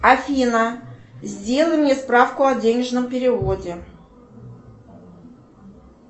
афина сделай мне справку о денежном переводе